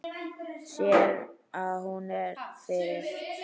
Sér að hún er fyrir.